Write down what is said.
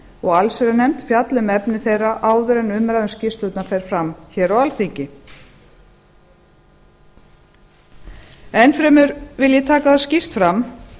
og allsherjarnefnd fjalli um efni þeirra áður en umræða um skýrslurnar fer fram á alþingi enn fremur vil ég taka það skýrt fram